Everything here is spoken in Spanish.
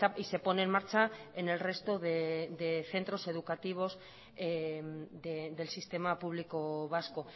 y se pone en marcha en el resto de centros educativos del sistema público vasco